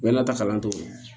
Bɛɛ nata kalan cogo rɔ